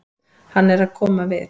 Hann er að koma við.